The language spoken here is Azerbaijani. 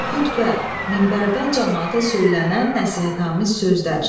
Xütbə, minbərdən camaata söylənən nəsihətamiz sözlər.